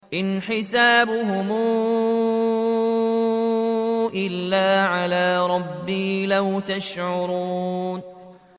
إِنْ حِسَابُهُمْ إِلَّا عَلَىٰ رَبِّي ۖ لَوْ تَشْعُرُونَ